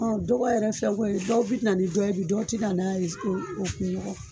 dɔgɔ yɛrɛ fɛn ko ye, dɔw bi na ni dɔ ye bi, dɔw ti na n'a ye